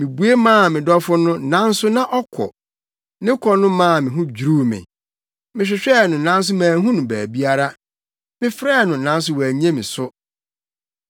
Mibue maa me dɔfo no, nanso na ɔkɔ. Ne kɔ no maa me ho dwiriw me. Mehwehwɛɛ no nanso manhu no baabiara. Mefrɛɛ no nanso wannye me so.